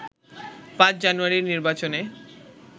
৫ জানুয়ারির নির্বাচনে